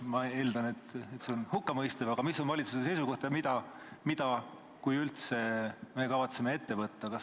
Ma eeldan, et see on hukkamõistev, aga milline on valitsuse seisukoht ja mida, kui üldse, me kavatseme ette võtta?